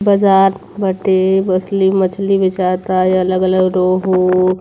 बाजार बाटे बछली मछली बेचाता अलग-अलग रोहू --